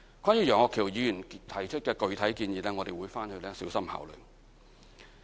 關於楊岳橋議員提出的具體建議，我們會小心考慮。